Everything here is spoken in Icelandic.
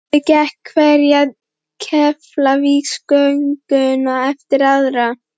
Og pabbi gekk hverja Keflavíkurgönguna eftir aðra.